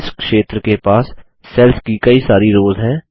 इस क्षेत्र के पास सेल्स की कई सारी रोस हैं